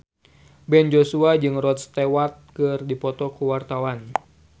Ben Joshua jeung Rod Stewart keur dipoto ku wartawan